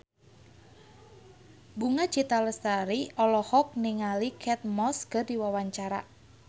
Bunga Citra Lestari olohok ningali Kate Moss keur diwawancara